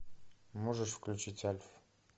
можешь включить альф